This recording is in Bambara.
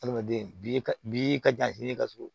Adamaden ka bi ka jan ka surun